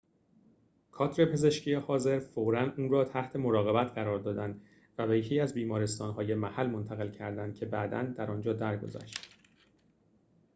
کادر پزشکی حاضر فوراً او را تحت مراقبت قرار دادند و به یکی از بیمارستان‌های محل منتقل کردند که بعداً در آنجا درگذشت